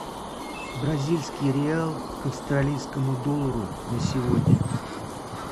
бразильский реал к австралийскому доллару на сегодня